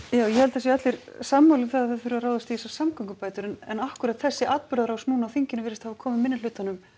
já ég held að það séu allir sammála um það að það þurfi að ráðast í þessar samgöngubætur en akkúrat þessi atburðarás á þinginu virðist hafa komið minnihlutanum